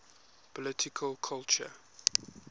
political culture